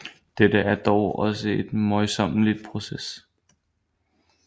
Dette er dog også en møjsommelig proces